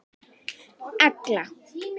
Agla